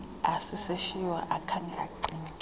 asisishiywa akhange acinge